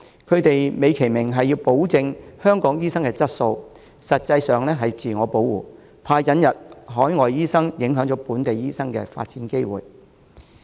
他們美其名是保證香港醫生的質素，實際是自我保護，擔心引入海外醫生影響本地醫生的發展機會。